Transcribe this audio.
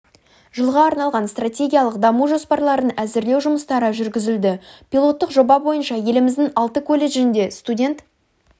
жылға арналған стратегиялық даму жоспарларын әзірлеу жұмыстары жүргізілді пилоттық жоба бойынша еліміздің алты колледжінде студент